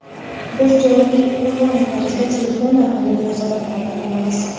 Biz jonli, onlayn tarzda, telefon orqali munosabatlarda bo‘lamiz.